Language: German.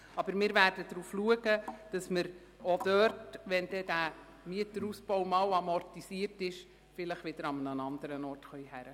Aber wir werden berücksichtigen, dass wir, wenn der Mieterausbau einmal amortisiert ist, vielleicht an einen anderen Ort ziehen könnten.